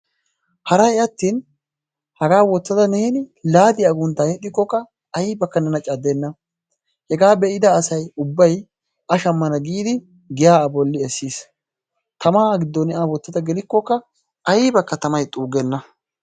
Haray attin haga wottada neeni laadiya agguntta yedhikokka aybaka neena caddenaa. hega beida asay ubbay a shammana gidi giya a bolli essiis. Tammaa gidoka ne a wottadagelikoka aybaka tammay xuugena.